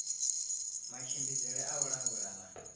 matshimbidzele a u langula na